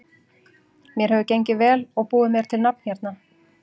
Mér hefur gengið vel og búið mér til nafn hérna.